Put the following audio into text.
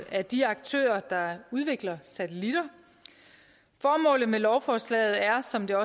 af de aktører der udvikler satellitter formålet med lovforslaget er som det